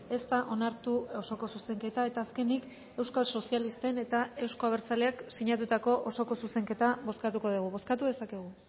ez da onartu osoko zuzenketa eta azkenik euskal sozialisten eta euzko abertzaleak sinatutako osoko zuzenketa bozkatuko dugu bozkatu dezakegu